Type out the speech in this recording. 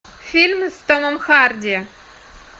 фильм с томом харди